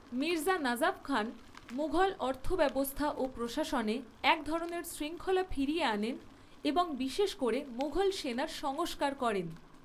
মির্জা নাজাফ খান মুঘল অর্থব্যবস্থা ও প্রশাসনে এক ধরনের শৃঙ্খলা ফিরিয়ে আনেন এবং বিশেষ করে মুঘল সেনার সংস্কার করেন।